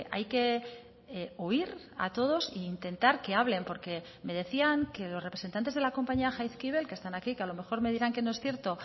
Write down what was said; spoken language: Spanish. hay que oír a todos e intentar que hablen porque me decían que los representantes de la compañía jaizkibel que están aquí que a lo mejor me dirán que no es cierto